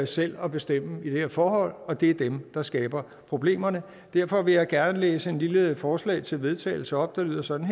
selv at bestemme i det her forhold og det er dem der skaber problemerne derfor vil jeg gerne læse et lille forslag til vedtagelse op der lyder sådan